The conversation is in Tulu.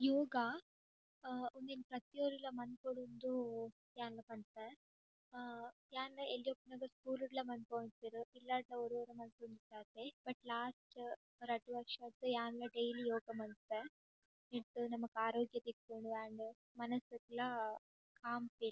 ಯೋಗ ಇಂದುವೆನ್ ಪ್ರತಿ ಒರಿಲ ಮನ್ಪೊಡು ಪಂದ್ ಯಾನ್ ಪನ್ಪೆ ಹಾ ಯಾನ್ ಎಲ್ಯ ಉಪ್ಪುನಗ ಸ್ಕೂಲ್ ಡ್ಲಾ ಮನ್ಪಾವೊಂದಿತ್ತೆರ್ ಇಲ್ಲಡ್ ಲ ಒರ ಒರ ಮಂತೊಂದಿತ್ತ ಆತೆ ಬಟ್ ಲಾಸ್ಟ್ ರಡ್ಡ್ ವರ್ಷರ್ದ್ ಯಾನ್ ಡೈಲಿ ಯೋಗ ಮನ್ಪುವೆ. ನೆಟ್ ನಮಕ್ ಆರೋಗ್ಯ ತಿಕ್ಕುಂಡು ಆಂಡ್ ಮನಸ್ ಗ್ಲಾ ಕಾಮ್ ಫೀಲ್ --